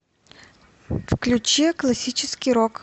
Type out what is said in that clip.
включи классический рок